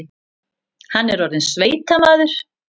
Hann var orðinn sveitamaður.